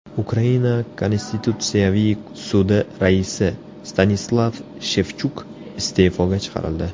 Ukraina Konstitutsiyaviy sudi raisi Stanislav Shevchuk iste’foga chiqarildi.